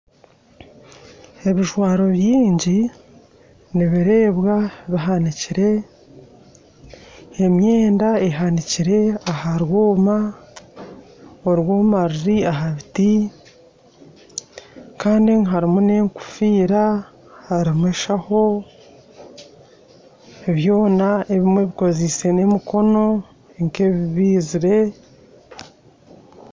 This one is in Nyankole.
Ebijwaro bingi nibireebwa bihanikire emyenda ehanikire aha rwoma , orwoma ruri aha biti Kandi omu harimu n'engofiira harimu enshaho byona ebimwe bikozeise n'emikono nk'ebibeizire.